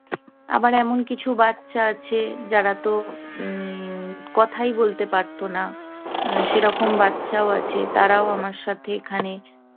আবার এমন কিছু বাচ্চা আছে, যারা তো উম কথাই বলতে পারত না। সেরকম বাচ্চাও আছে। তারাও আমার সাথে এখানে